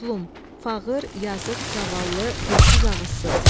Məzlum, fağır, yazıq, zavallı, dilsiz, ağızsız.